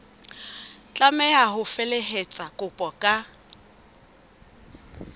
tlameha ho felehetsa kopo ka